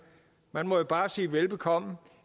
man må bare sige velbekomme